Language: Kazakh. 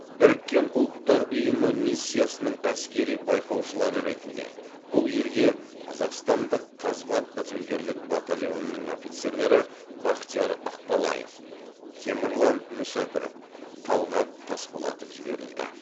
біріккен ұлттар ұйымы миссиясының әскери байқаушылары ретінде бұл елге қазақстандық қазбат бітімгерлік батальонының офицерлері бахтияр ақбалаев темірлан мүсәпіров талғат тасболатов жіберілді